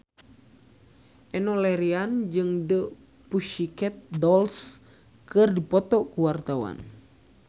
Enno Lerian jeung The Pussycat Dolls keur dipoto ku wartawan